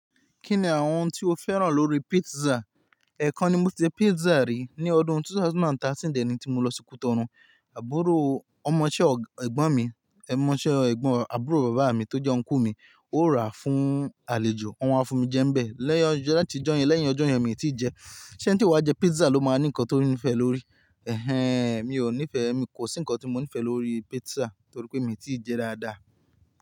Kí ni àwọn tí o féràn lórí pizza? Ẹ̀kan ni mo ti jẹ pizza rí ní ọdún 2013 dẹ́ nì tí mo lọ sí Cotonou, àbúrò ọmọ isé ẹ̀gbọ́n mi, ẹ̀ ọmọ isé ẹ̀gbọ́n àbúrò bàbá mi tó jẹ́ uncle mi, ó rà fún àlejò, wọ́n wá fún mi jẹ́ ńbẹ̀, lẹ́yìn ọjọ́ yẹn láti jọ́yen lẹ́yìn ọjọ́ yẹn mi ò tí ì jẹ. Ṣé ẹni tí ó máa jẹ pizza ló máa ní nǹkan tó ní ìfẹ́ lórí? Ẹ̀hẹ̀n, mi ò nífẹ̀ẹ́, mi kò sí nǹkan tí mo nífẹ̀ẹ́ lórí pizza torí pé mi ò tí ì jẹ dáadáa.